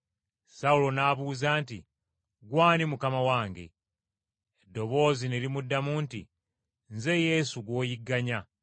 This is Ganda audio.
Sawulo n’abuuza nti, “Ggwe ani, Mukama wange?” Eddoboozi ne limuddamu nti, “Nze Yesu gw’oyigganya!